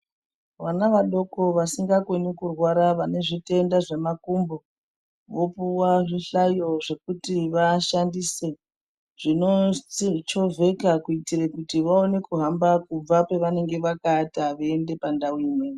Vana vadoko, vasikakoni kurwara, vane zvitenda zvemakumbo, vopuwa zvihlayo zvekuti vashandise, zvinochovheka kuitire kuti vaone kuhamba kubva pavanenge vakaata veyienda pandau imweni.